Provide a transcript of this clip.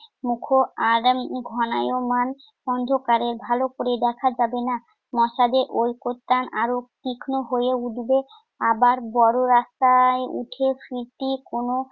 মুখ আর ঘনায়মান অন্ধকারে ভালো করে দেখা যাবে না। মশাদের ঐক্যতান আরো তীক্ষ্ণ হয়ে উঠবে। আবার বড় রাস্তায় উঠে ফিরতি কোন